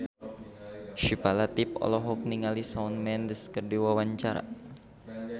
Syifa Latief olohok ningali Shawn Mendes keur diwawancara